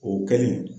O kɛlen